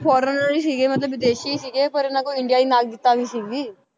Foreigner ਸੀਗੇ ਮਤਲਬ ਵਿਦੇਸ਼ੀ ਸੀਗੇ ਪਰ ਇਹਨਾਂ ਕੋਲ ਇੰਡੀਆ ਦੀ ਨਾਗਰਿਕਤਾ ਵੀ ਸੀਗੀ,